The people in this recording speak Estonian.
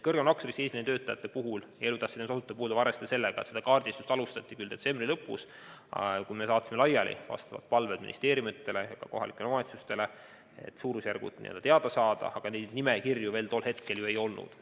Suurema nakkusriskiga eesliinitöötajate ja elutähtsa teenuse osutajate puhul tuleb arvestada, et nende kaardistamist alustati detsembri lõpus, kui saatsime vastavad palved ministeeriumidele ja kohalikele omavalitsustele, et suurusjärgud teada saada, mistõttu tol hetkel neid nimekirju veel ei olnud.